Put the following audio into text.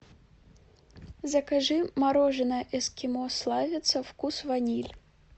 закажи мороженое эскимо славица вкус ваниль